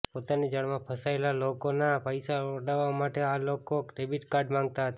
પોતાની જાળમાં ફસાયેલા લોકોનાં પૈસા પડાવવા માટે આ લોકો ડેબિટ કાર્ડ માંગતા હતા